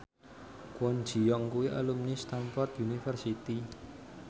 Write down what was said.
Kwon Ji Yong kuwi alumni Stamford University